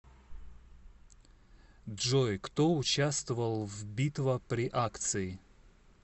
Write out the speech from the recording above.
джой кто участвовал в битва при акции